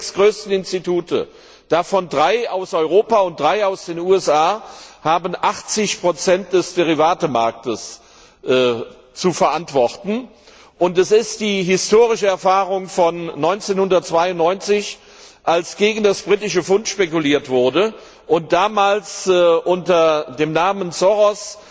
Diese sechs größten Institute davon drei aus Europa und drei aus den USA haben 80 des Derivatemarktes zu verantworten. Es ist die historische Erfahrung von 1992, als gegen das britische Pfund spekuliert wurde und damals wurde unter dem Namen Soros